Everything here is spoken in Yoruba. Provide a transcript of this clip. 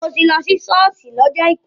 Mò ti lọ sí ṣọ́ọ̀ṣì lọ́jọ àìkú.